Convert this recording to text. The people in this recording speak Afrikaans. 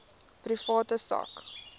private sak